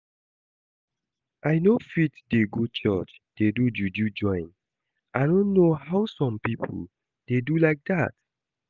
I no fit dey go church dey do juju join, I no know how some people dey do like that